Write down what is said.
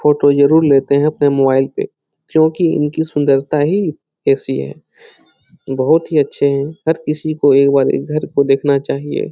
Photo जरूर लेते हैं अपने मोबाइल पे क्यूंकि इनकी सुंदरता ही ऐसी है बहुत ही अच्छे है हर किसी को एक बार ये घर को देखना चाहिए।